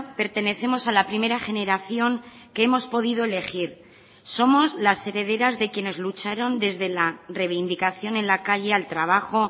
pertenecemos a la primera generación que hemos podido elegir somos las herederas de quienes lucharon desde la reivindicación en la calle al trabajo